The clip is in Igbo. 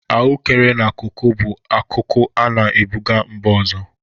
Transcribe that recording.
Ahụekere na koko bụ akụkụ a na-ebụga mba ọzọ.